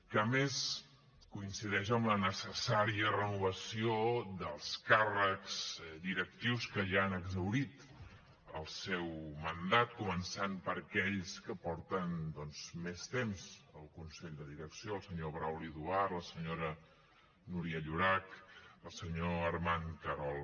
que a més coincideix amb la necessària renovació dels càrrecs directius que ja han exhaurit el seu mandat començant per aquells que porten doncs més temps al consell de direcció el senyor brauli duart la senyora núria llorach el senyor armand querol